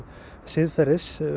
siðferðis